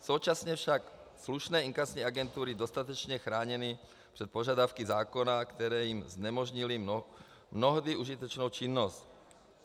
Současně však slušné inkasní agentury dostatečně chráněny před požadavky zákona, které jim znemožnily mnohdy užitečnou činnost.